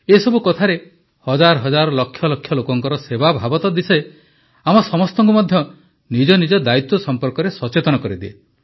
ଏସବୁ କଥାରେ ହଜାର ହଜାର ଲକ୍ଷ ଲକ୍ଷ ଲୋକଙ୍କର ସେବାଭାବ ତ ଦିଶେ ଆମ ସମସ୍ତଙ୍କୁ ମଧ୍ୟ ନିଜ ନିଜ ଦାୟିତ୍ୱ ସଂପର୍କରେ ସଚେତନ କରିଦିଏ